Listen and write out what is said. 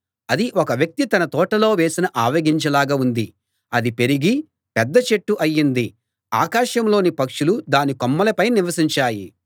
అది ఒక వ్యక్తి తన తోటలో వేసిన ఆవగింజ లాగా ఉంది అది పెరిగి పెద్ద చెట్టు అయింది ఆకాశంలోని పక్షులు దాని కొమ్మలపై నివసించాయి